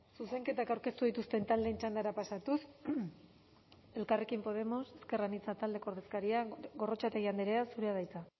zuzenketak aurkeztu dituzten taldeen txandara pasatuz elkarrekin podemos ezker anitza taldeko ordezkariak gorrotxategi andrea zurea da hitza